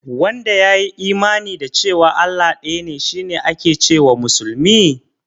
Wanda ya yi imani da cewa Allah ɗaya ne shi ake ce wa musulmi?